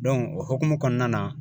Dɔnku o hokumu kɔnɔna na